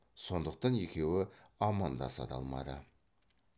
сондықтан екеуі амандаса да алмады